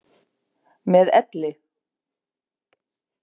Með elli.